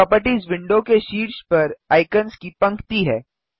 properties window के शीर्ष पर आइकन्स की पंक्ति है